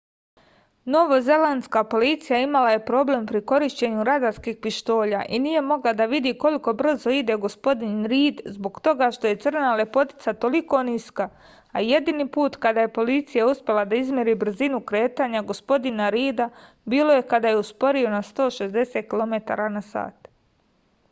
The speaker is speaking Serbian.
novozelandska policija imala je problema pri korišćenju radarskih pištolja i nije mogla da vidi koliko brzo ide gospodin rid zbog toga što je crna lepotica toliko niska a jedini put kada je policija uspela da izmeri brzinu kretanja gospodina rida bilo je kada je usporio na 160 km/h